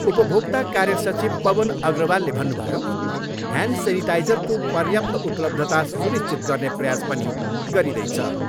उपभोक्ता कार्य सचिव पवन अग्रवालले भन्नुभयो, ह्यान्ड सेनिटाइजरको पर्याप्त उपलब्धता सुनिश्चित गर्ने प्रयास पनि गरिँदैछ।